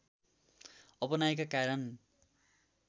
अपनाएका कारण